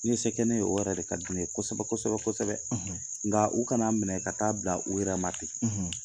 N' i ye se kɛ ne ye , o yɛrɛ de ka di ne ye kosɛbɛ kosɛbɛ kosɛbɛ, nka u kana minɛ ka taa bila u yɛrɛma ten!